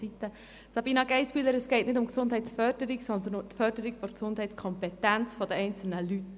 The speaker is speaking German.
Sabina Geissbühler, es geht nicht um die Gesundheitsförderung, sondern um die Förderung der Gesundheitskompetenz der einzelnen Leute.